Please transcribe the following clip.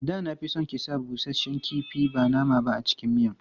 Da na fi son ki sa busasshen kifi ba nama ba a cikin miyan.